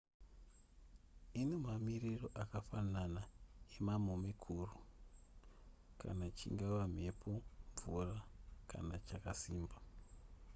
ine mamiriro akafanana emamomekuru kana chingava mhepo mvura kana chakasimba